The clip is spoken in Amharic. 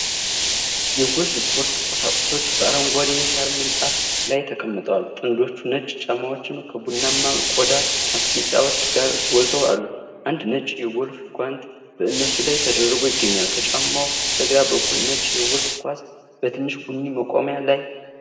የጎልፍ ስፖርት ቁሳቁሶች በአረንጓዴ የሣር ምንጣፍ ላይ ተቀምጠዋል። ጥንዶች ነጭ ጫማዎች ከቡናማ የቆዳ ማስጌጫዎች ጋር ጎልተው አሉ። አንድ ነጭ የጎልፍ ጓንት በእነሱ ላይ ተደራርቦ ይገኛል። ከጫማው በስተግራ በኩል ነጭ የጎልፍ ኳስ በትንሽ ቡኒ መቆሚያ ላይ።